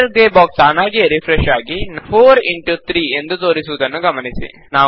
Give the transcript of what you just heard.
writer grey box ತಾನಾಗಿಯೇ refresh ಆಗಿ 4 into 3 ಎಂದು ತೋರಿಸುವುದನ್ನು ಗಮನಿಸಿ